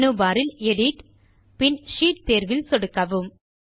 menu bar இல் edit தேர்வில் சொடுக்கி பின் ஷீட் தேர்விலும் சொடுக்கவும்